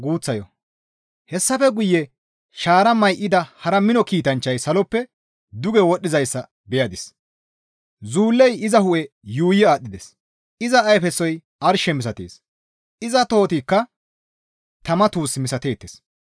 Hessafe guye shaara may7ida hara mino kiitanchchay saloppe duge wodhdhizayssa beyadis; zuullay iza hu7e yuuyi aadhdhides; iza ayfesoy arshe misatees; iza tohotikka tama tuus misateettes.